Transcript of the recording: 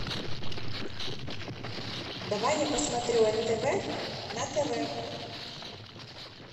давай я посмотрю нтв на тв